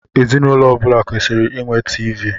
Ezinụlọ ọbula kwesịrị ịnwe TV.